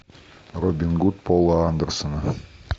робин гуд пола андерсона